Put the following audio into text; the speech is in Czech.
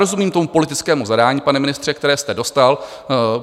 Rozumím tomu politickému zadání, pane ministře, které jste dostal.